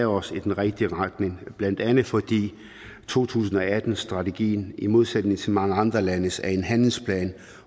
os i den rigtige retning blandt andet fordi to tusind og atten strategien i modsætning til mange andre landes er en handlingsplan